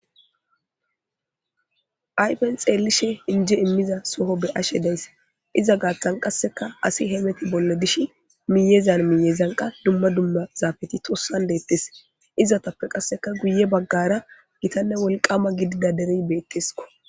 Ayfen xeellishe injje immiza soho be7ashe days. Iza gaathan qasseka asi hemeti bolla dishi miyyezan miyyezan qa dumma dumma zaafeti tossan deettees. Izatappe qasseka guye baggaara gitanne wolqqaama gidida derey beetteskko.